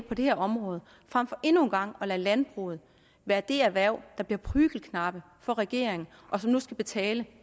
på det her område frem for endnu en gang at lade landbruget være det erhverv der bliver prügelknabe for regeringen og som nu skal betale